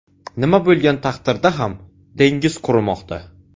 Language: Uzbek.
Nima bo‘lgan taqdirda ham dengiz qurimoqda.